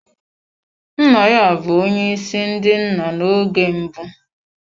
Nna ya bụ onye isi ndị nna na oge mbụ.